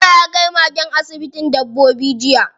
Nura ya kai magen asibitin dabbobi jiya.